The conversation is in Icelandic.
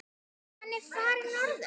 Hann er farinn norður.